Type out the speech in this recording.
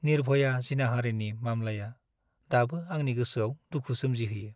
निर्भया जिनाहारिनि मामलाया दाबो आंनि गोसोआव दुखु सोमजिहोयो।